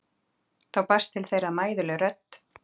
Þá barst til þeirra mæðuleg rödd